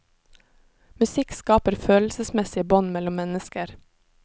Musikk skaper følelsesmessige bånd mellom mennesker.